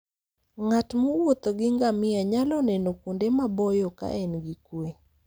Ng'at mowuotho gi ngamia nyalo neno kuonde maboyo ka en gi kuwe.